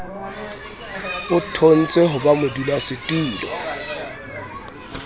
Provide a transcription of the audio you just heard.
o thontswe ho ba modulasetulo